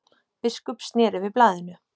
Biskup sneri við blaðinu.